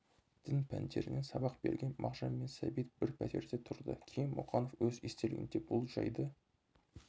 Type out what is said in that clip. дін пәндерінен сабақ берген мағжанмен сәбит бір пәтерде тұрды кейін мұқанов өз естелігінде бұл жайды